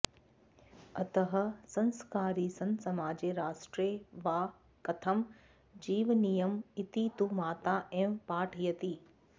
अतः संस्कारी सन् समाजे राष्ट्रे वा कथं जीवनीयम् इति तु माता एव पाठयति